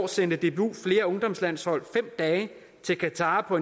sendte dbu flere ungdomslandshold fem dage til qatar på